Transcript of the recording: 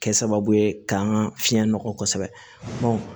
Kɛ sababu ye k'an fiɲɛ nɔgɔ kosɛbɛ